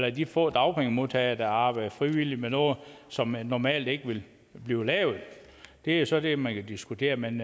er de få dagpengemodtagere der arbejder frivilligt med noget som normalt ikke ville blive lavet det er så det man kan diskutere men